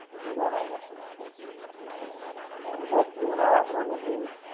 બરાબર, એ તો JIO ના વાપરો ને એટલે એવું જ!